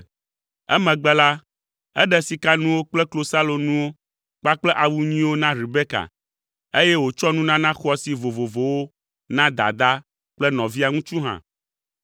Emegbe la, eɖe sikanuwo kple klosalonuwo kpakple awu nyuiwo na Rebeka, eye wòtsɔ nunana xɔasi vovovowo na dadaa kple nɔvia ŋutsu hã.